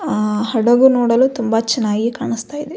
ಆ ಹಡಗು ನೋಡಲು ತುಂಬ ಚೆನ್ನಾಗಿ ಕಾಣಿಸ್ತಾ ಇದೆ.